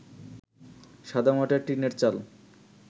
সাদামাটা টিনের চাল